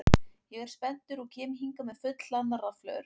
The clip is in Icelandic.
Ég er spenntur og kem hingað með fullhlaðnar rafhlöður.